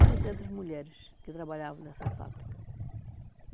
e duzentas mulheres que trabalhavam nessa fábrica.